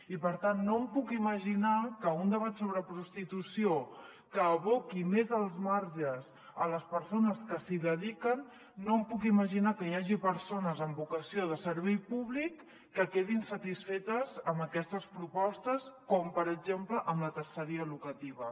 i per tant no em puc imaginar que un debat sobre prostitució que aboqui més als marges les persones que s’hi dediquen no em puc imaginar que hi hagi persones amb vocació de servei públic que quedin satisfetes amb aquestes propostes com per exemple amb la terceria locativa